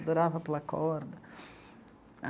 Adorava pular corda.